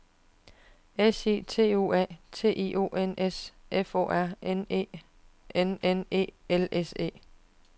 S I T U A T I O N S F O R N E N N E L S E